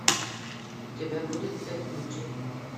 у тебя будет пять ключей